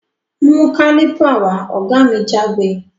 Mú Kálìpà wá! ògá mi jágbe